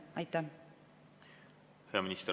Hea minister!